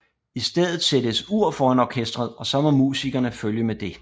I stedet sættes et ur foran orkesteret og så må musikerne følge med det